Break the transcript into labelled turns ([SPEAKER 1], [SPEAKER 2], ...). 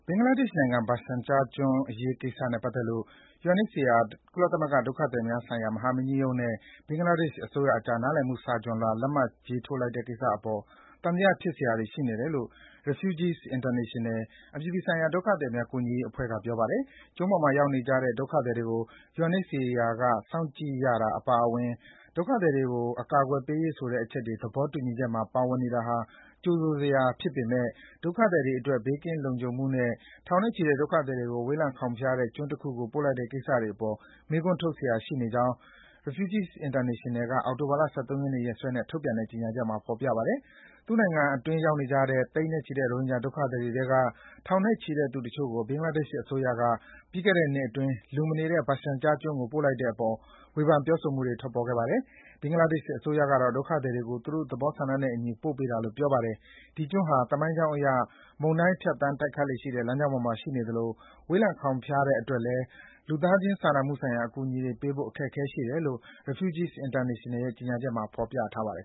[SPEAKER 1] င်္ဂလားဒေ့ရှ်နိုင်ငံ၊ Bhasan Char ကျွန်းပေါ် ရိုဟင်ဂျာဒုက္ခသည်တွေအရေးနဲ့ပတ်သက်လို့ UNHCR ဒုက္ခသည်များဆိုင်ရာ ကုလသမဂ္ဂ မဟာမင်းကြီးရုံးနဲ့ ဘင်္ဂလားဒေ့ရှ်အစိုးရအကြား နားလည်မှုစာချွန် လွှာ လက်မှတ်ရေးလိုက်တဲ့ကိစ္စအပေါ် သံသဖြစ်စရာတွေ ရှိနေတယ်လို့ Refugees International အပြည်ပြည်ဆိုင်ရာ ဒုက္ခသည်များကူညီရေးအဖွဲ့က ပြောပါတယ်။ ကျွန်းပေါ်မှာရောက်နေကြတဲ့ ဒုက္ခသည်တွေကို UNHCR က စောင့်ကြည့်ရတာအပါအဝင် ဒုက္ခသည်တွေကို အကာကွယ်ပေးရေးဆိုတဲ့အချက်တွေ သဘောတူညီချက်မှာ ပါဝင်နေတာဟာ ကြိုဆိုစရာဖြစ်ပေမယ့် ဒုက္ခသည်တွေအတွက် ဘေးကင်းလုံခြုံမှုနဲ့ ထောင်နဲ့ချီတဲ့ ဒုက္ခသည်တွေကို ဝေးလံခေါင် ဖျားတဲ့ကျွန်းတခုကို ပို့လိုက်တဲ့ကိစ္စတွေအပေါ် မေးခွန်းထုတ်စရာရှိနေကြောင်း Refugees International က အောက်တိုဘာ ၁၃ ရက်နေ့ရက်စွဲနဲ့ ထုတ်ပြန်တဲ့ ကြေညာချက်မှာ ဖော်ပြထားပါတယ်။ သူ့နိုင်ငံအတွင်းရောက်နေကြတဲ့ သိန်းနဲ့ချီတဲ့ ရိုဟင်ဂျာဒုက္ခသည်တွေထဲက ထောင်နဲ့ချီတဲ့သူတချို့ကို လူမနေတဲ့ Bhasan Char ကျွန်းပေါ်ပြီးခဲ့တဲ့နှစ်အတွင်းဘင်္ဂလားဒေ့ရှ်အစိုးရက ပို့လိုက်တဲ့အပေါ် ဝေဖန် ပြောဆိုမှုတွေ ထွက်ပေါ်ခဲ့ပါတယ်။ ဘင်္ဂလားဒေ့ရှ်အစိုးရကတော့ ဒုက္ခသည်တွေကို သူတို့ သဘောဆန္ဒနဲ့အညီ ပို့ပေးတာလို့ ပြောပါတယ်။ ဒီကျွန်းဟာ သမိုင်းကြောင်းအရ မုန်တိုင်းဖြတ်သန်းတိုက်ခတ်လေ့ရှိတဲ့ လမ်းကြောင်းပေါ်မှာ ရှိနေသလို ဝေးလံခေါင်ဖျားတဲ့အတွက်လည်း လူသားစာနာမှုဆိုင်ရာ အကူအညီတွေပို့ပေးဖို့ အခက်အခဲရှိတယ်လို့ Refugees International ရဲ့ ကြေညာချက်မှာ ဖော်ပြပါတယ်